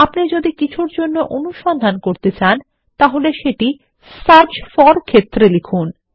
আপনি যদি কিছুরজন্য অনুসন্ধান করতে চান সেটি সার্চ ফোর ক্ষেত্রে লিখুন